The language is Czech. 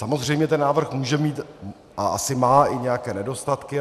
Samozřejmě ten návrh může mít a asi má i nějaké nedostatky.